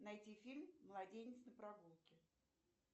найти фильм младенец на прогулке